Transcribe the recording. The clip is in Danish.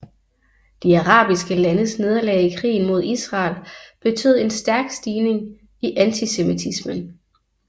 De arabiske landes nederlag i krigen mod Israel betød en stærk stigning i antisemitismen